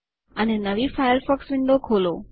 અને નવી Firefox window ખોલો